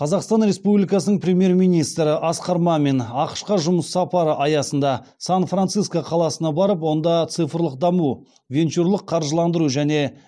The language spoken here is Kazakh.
қазақстан республикасының премьер министрі асқар мамин ақш қа жұмыс сапары аясында сан франциско қаласына барып онда цифрлық даму венчурлық қаржыландыру және